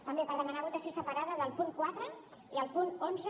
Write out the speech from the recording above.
també per demanar votació separada del punt quatre i el punt cent i onze